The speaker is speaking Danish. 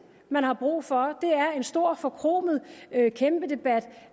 man har brug for er en stor forkromet kæmpe debat